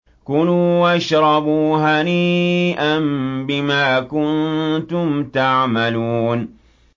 كُلُوا وَاشْرَبُوا هَنِيئًا بِمَا كُنتُمْ تَعْمَلُونَ